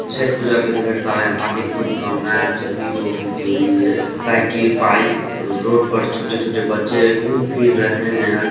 छठ पूजा की ढेर सारे हार्दिक शुभकामनाये आप सभी लोगो के लिए साइकिल बाइक रोड पर छोटे-छोटे बच्चे घूम-फिर रहे है।